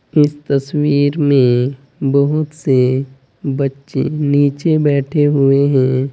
इस तस्वीर में बहोत से बच्चे नीचे बैठे हुए हैं।